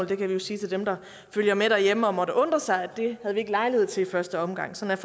kan vi jo sige til dem der følger med derhjemme og måtte undre sig altså at det havde vi ikke lejlighed til i første omgang sådan